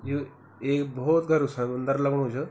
यु ऐक भौत गेरू समन्दर लगणु च।